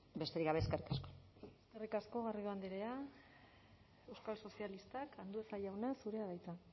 besterik gabe eskerrik asko eskerrik asko garrido andrea euskal sozialistak andueza jauna zurea da hitza